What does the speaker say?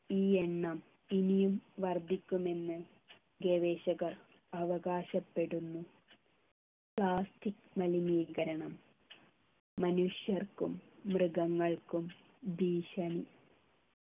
ഈ എണ്ണം ഇനിയും വർദ്ധിക്കുമെന്ന് ഗവേഷകർ അവകാശപ്പെടുന്നു plastic മലിനീകരണം മനുഷ്യർക്കും ഭീഷണി